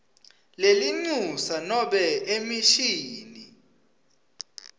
lelincusa nobe emishini